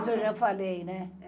Isso eu já falei, né?